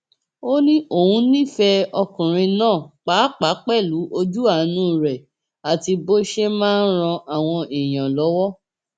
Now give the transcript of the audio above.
ó ní òun nífẹẹ ọkùnrin náà pàápàá pẹlú ojú àánú rẹ àti bó ṣe máa ń ran àwọn èèyàn lọwọ